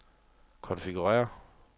konfigurér